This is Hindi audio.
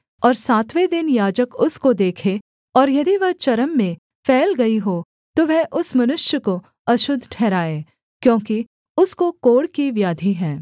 और सातवें दिन याजक उसको देखे और यदि वह चर्म में फैल गई हो तो वह उस मनुष्य को अशुद्ध ठहराए क्योंकि उसको कोढ़ की व्याधि है